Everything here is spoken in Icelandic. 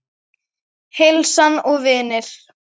Heilsan og vinir.